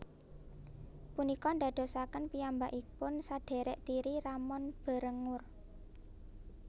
Punika ndadosaken piyambakipun sadhèrèk tiri Ramon Berenguer